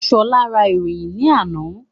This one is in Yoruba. Ṣọlá rà ìfọyín ní àná